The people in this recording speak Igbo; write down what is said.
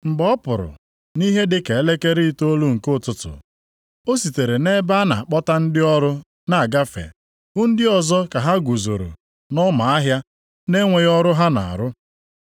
“Mgbe ọ pụrụ nʼihe dị ka elekere itoolu nke ụtụtụ, o sitere nʼebe a na-akpọta ndị ọrụ na-agafe hụ ndị ọzọ ka ha guzoro nʼọma ahịa na-enweghị ọrụ ha na-arụ.